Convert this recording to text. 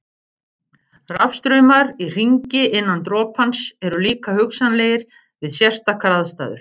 Rafstraumar í hringi innan dropans eru líka hugsanlegir við sérstakar aðstæður.